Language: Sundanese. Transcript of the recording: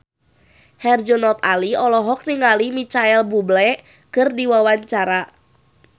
Herjunot Ali olohok ningali Micheal Bubble keur diwawancara